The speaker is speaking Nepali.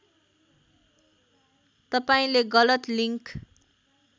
तपाईँले गलत लिङ्क